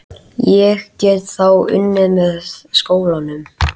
Ég get þá unnið með skólanum.